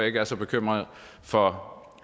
ikke er så bekymret for